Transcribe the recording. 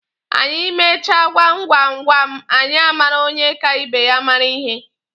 Anyị mechaa gwam gwam gwam, anyị amara onye ka ibe ya mara ihe.